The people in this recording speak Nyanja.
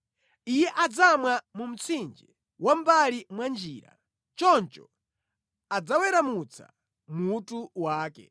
Iye adzamwa mu mtsinje wa mʼmbali mwa njira; choncho adzaweramutsa mutu wake.